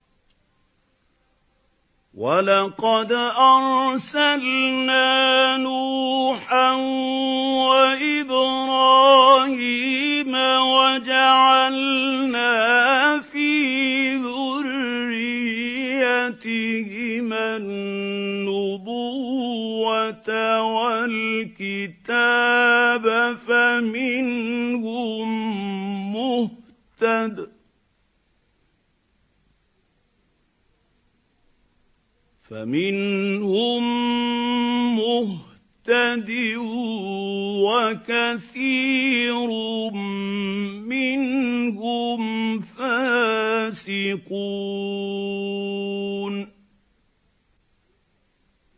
وَلَقَدْ أَرْسَلْنَا نُوحًا وَإِبْرَاهِيمَ وَجَعَلْنَا فِي ذُرِّيَّتِهِمَا النُّبُوَّةَ وَالْكِتَابَ ۖ فَمِنْهُم مُّهْتَدٍ ۖ وَكَثِيرٌ مِّنْهُمْ فَاسِقُونَ